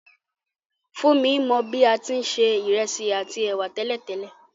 Fúnmi mo bi a ti n se ìrẹsì àtí èwà tẹ̀lẹ́tẹ̀lẹ́